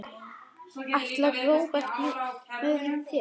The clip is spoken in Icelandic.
Ætlar Róbert með þér?